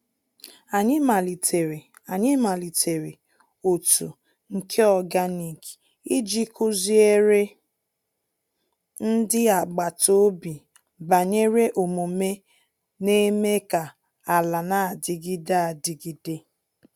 Anyị malitere Anyị malitere otu nke organic iji kụziere ndị agbata obi banyere omume n’eme ka ala na-adịgide adịgide.